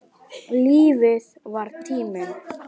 Lífið var tíminn.